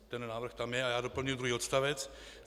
Ten návrh tam je a já doplňuji druhý odstavec: